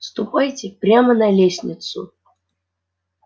ступайте прямо на лестницу